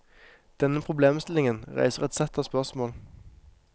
Denne problemstillingen reiser et sett av spørsmål.